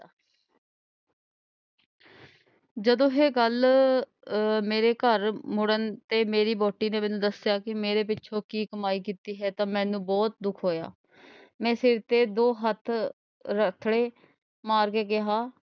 ਜਦੋਂ ਇਹ ਗੱਲ ਅਹ ਮੇਰੇ ਘਰ ਮੁੜਨ ਤੇ ਮੇਰੀ ਵਹੁਟੀ ਨੇ ਮੈਨੂੰ ਦੱਸਿਆ ਕਿ ਮੇਰੇ ਪਿੱਛੋਂ ਕੀ ਕਮਾਈ ਕੀਤੀ ਹੈ ਤਾਂ ਮੈਨੂੰ ਬਹੁਤ ਦੁੱਖ ਹੋਇਆ। ਮੈਂ ਸਿਰ ਤੇ ਦੋ ਹੱਥੜੇ ਮਾਰ ਕੇ ਕਿਹਾ।